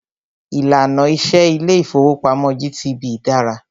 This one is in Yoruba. Ìlànà iṣẹ ilé ìfọwọ́pamo GTB dára.